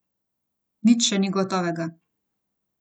Nič še ni gotovega.